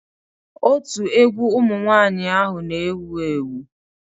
Otu egwu ụmụ nwanyị ahụ n'ewu ewu